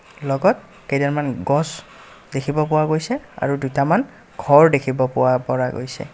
লগত কেইডালমান গছ দেখিব পোৱা গৈছে আৰু দুটামান ঘৰ দেখিব পোৱা পৰা গৈছে।